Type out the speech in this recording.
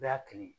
Bɛɛ y'a kelen ye